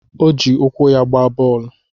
O ji ụkwụ ya gbaa bọọlụ